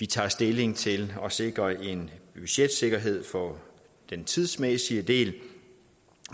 tage stilling til at sikre en budgetsikkerhed for den tidsmæssige del